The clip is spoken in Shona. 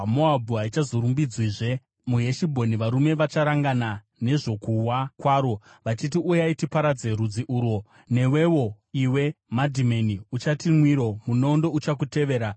Moabhu haichazorumbidzwizve; muHeshibhoni varume vacharangana nezvokuwa kwaro, vachiti: ‘Uyai, tiparadze rudzi urwo.’ Newewo, iwe Madhimeni uchati mwiro; munondo uchakutevera.